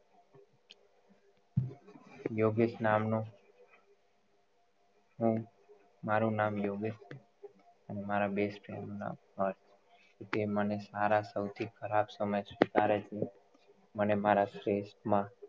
યોગેશ નામ નો હું મારુ નામ યોગેશ છે હું મારા હું મારા best friend ના ખાસ જે મને સારા સૌથી ખરાબ સમજ સ્વીકારે છે મને મારા શ્રેષ્ઠ માં